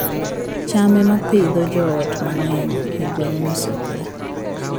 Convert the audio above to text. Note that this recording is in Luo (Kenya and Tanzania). cham ema Pidhoo joot mang'eny e gwenge mosokore